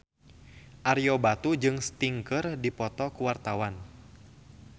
Ario Batu jeung Sting keur dipoto ku wartawan